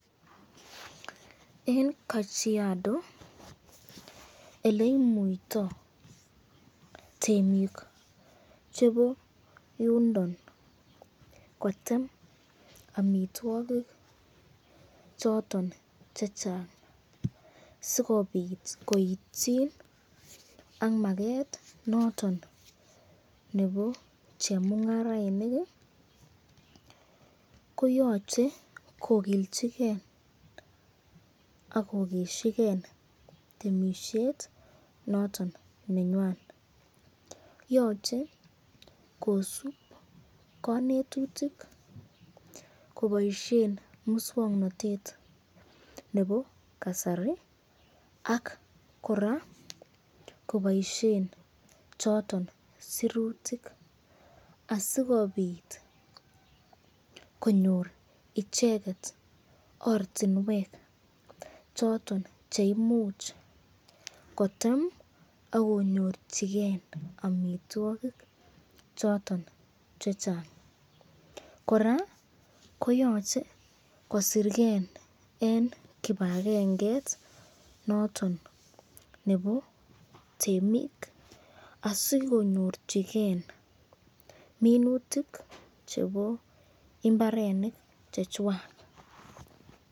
Eng kajiado oleimuitoi temik chebo yundo kotem amitwokik choton chechang sikobit koitchin ak maket noton nebo chemungarainik koyochei kokilchikei ak kokesikei temisiet noton nenyone yoche kosup konetutik koboishe muswongnotet nebo kasari ak kora koboishe choto sirutik asikobit konyor icheket ortinwek choton cheimuch kotem akonyorchiken amitwokik choton che chang kora koyochei kosirkei eng kibakengeit noton nebo temik asikonyorchigei minutik chebo imbarenik chechwan.